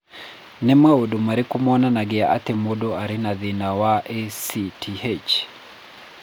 Nĩ maũndũ marĩkũ monanagia atĩ mũndũ arĩ na thĩna wa ACTH?